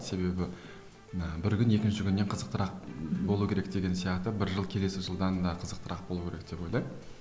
себебі і бір күн екінші күннен қызықтырақ болу керек деген сияқты бір жыл келесі жылдан да қызықтырақ болу керек деп ойлаймын